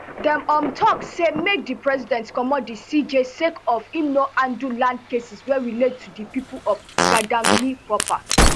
dem um tok say make di president comot di cj sake of im no handle land cases wey relate to di pipo of gadangme proper